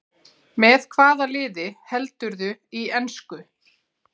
Með hvaða liði heldurðu í ensku?